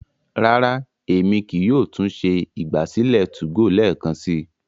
rara, Èmi kìí yóò tún ṣe ìgbàsílẹ̀ 2go lẹẹkansi